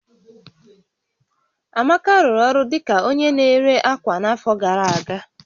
Amaka rụrụ ọrụ dị ka onye na-ere ákwà n'afọ gara aga